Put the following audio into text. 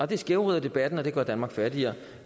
det skævvrider debatten og det gør danmark fattigere